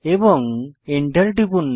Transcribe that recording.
এবং এন্টার টিপুন